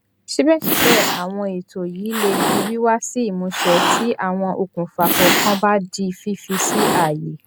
síbẹsíbẹ àwọn ètò yìí lè di wíwá sí ìmúṣẹ tí àwọn okùnfà kọọkan bá di fífi sí ààyè